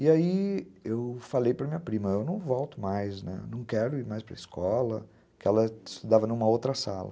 E aí eu falei para minha prima, eu não volto mais, né, não quero ir mais para a escola, porque ela estudava em uma outra sala.